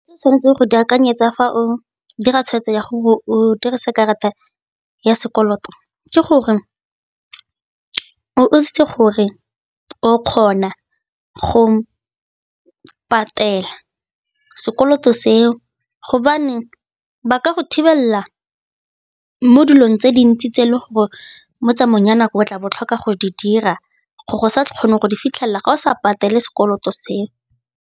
Se o tshwanetseng go di akanyetsa fa o dira tshweetso ya gore o dirisa karata ya sekoloto ke gore o itse gore o kgona go patela sekoloto seo gobaneng ba ka go thibelela mo dilong tse dintsi tse e le gore mo tsamayong ya nako o tla bo o tlhoka go di dira go sa kgone go di fitlhelela ga o sa patele sekoloto seo.